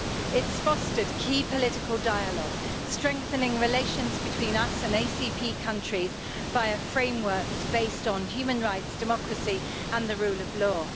It's fostered key political dialogue, strengthening relations between us and the ACP countries via frameworks based on human rights, democracy and the rule of law.